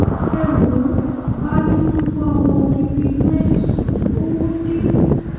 ẹ wo baálé tó ń bá ọmọ bíbí inú ẹ̀ sùn lówóde